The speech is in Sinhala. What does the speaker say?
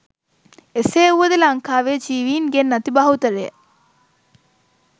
එසේ වුව ද ලංකාවේ ජීවීන් ගෙන් අති බහුතරය